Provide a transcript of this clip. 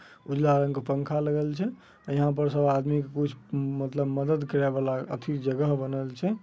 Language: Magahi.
उजला रंग के पंखा लगल छे। यहाँ पर सब आदमी कुछ मतलब मदद करे वाला आथी जगह बनल छे।